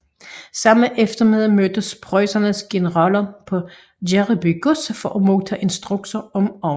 Samme eftermiddag mødtes preussernes generaler på Gereby gods for at modtage instruktioner om overgangen